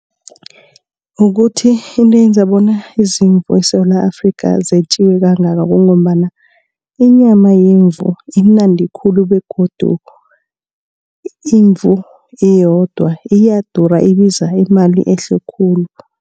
Kukuthi into eyenza bona izimvu eSewula Afrika zetjiwe kangaka. Kungombana inyama yemvu imnandi khulu begodu imvu iyodwa iyadura ibiza imali ehle khulu.